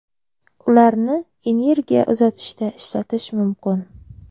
Ularni energiya uzatishda ishlatish mumkin.